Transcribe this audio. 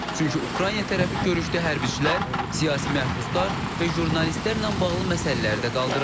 Çünki Ukrayna tərəfi görüşdə hərbçilər, siyasi məhbuslar və jurnalistlərlə bağlı məsələləri də qaldırıb.